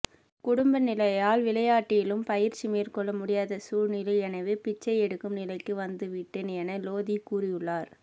குடும்ப நிலையால் விளையாட்டிலும் பயிற்சி மேற்கொள்ள முடியாத சூழ்நிலை எனவே பிச்சை எடுக்கும் நிலைக்கு வந்துவிட்டேன் என லோதி கூறியுள்ளார்